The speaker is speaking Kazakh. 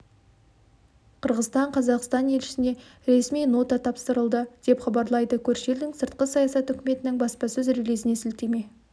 қырғызстан қазақстан елшісіне ресми нота тапсырылды деп хабарлайды көрші елдің сыртқы саясат үкіметінің баспсөз релизіне сілтеме